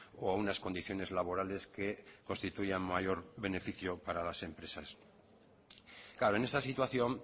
o a unas condiciones laborales que constituyan mayor beneficio para las empresas claro en esta situación